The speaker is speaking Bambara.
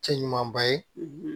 Cɛ ɲumanba ye